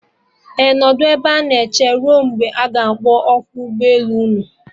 Ee, nọdụ ebe a na eche ruo mgbe a ga-akpọ oku ụgbọ elu unu